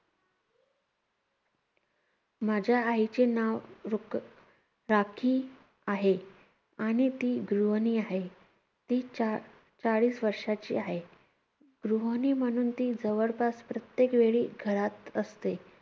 माझ्या आईचे नाव रुक~ राखी आहे. आणि ती गृहणी आहे. ती चा~ चाळीस वर्षाची आहे. गृहणी म्हणून ती जवळपास प्रत्येक वेळी घरात असते.